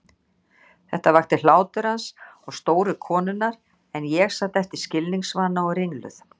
Þetta vakti hlátur hans og stóru konunnar en ég sat eftir skilningsvana og ringluð.